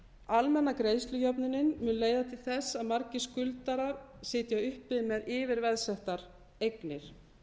almenna greiðslujöfnunin mun leiða til þess að margir skuldarar sitja uppi með yfirveðsettar eignir